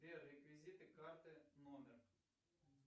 сбер реквизиты карты номер